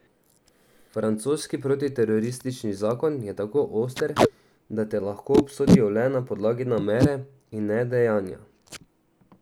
Francoski protiteroristični zakon je tako oster, da te lahko obsodijo le na podlagi namere in ne dejanja.